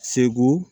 Segu